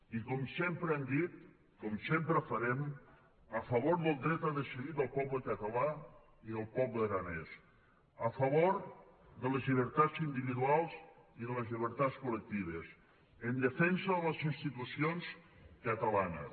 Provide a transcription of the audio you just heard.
i com sempre hem dit com sempre farem a favor del dret a decidir del poble català i del poble aranès a favor de les llibertats individuals i de les llibertats col·lectives en defensa de les institucions catalanes